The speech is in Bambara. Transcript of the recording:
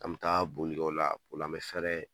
An bɛ taa bolikɛ o la, o la an bɛ fɛrɛ